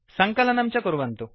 सङ्कलनं च कुर्वन्तु